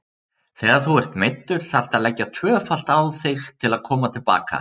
Þegar þú ert meiddur þarftu að leggja tvöfalt á þig til að koma til baka.